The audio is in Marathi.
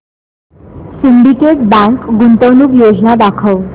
सिंडीकेट बँक गुंतवणूक योजना दाखव